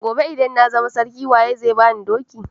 Gobe idan na zama sarki waye zai bani doki?